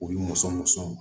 U ye mɔnsɔn mɔnsɔnw